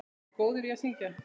Ertu góður í að syngja?